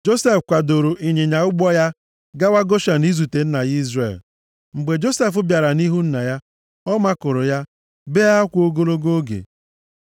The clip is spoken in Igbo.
Josef kwadoro ịnyịnya ụgbọ ya gawa Goshen izute nna ya Izrel. Mgbe Josef bịara nʼihu nna ya, ọ makụrụ ya, bee akwa ogologo oge.